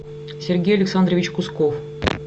сергей александрович кусков